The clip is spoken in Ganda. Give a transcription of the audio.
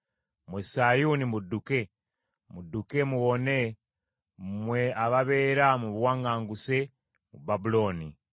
“Mmwe Sayuuni mudduke, mudukke muwone mmwe ababeera mu buwaŋŋanguse mu Babulooni.”